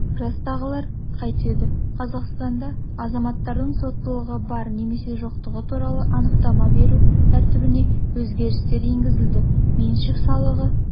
жастағылар қайтеді қазақстанда азаматтардың соттылығы бар немесе жоқтығы туралы анықтама беру тәртібіне өзгерістер енгізілді меншік салығы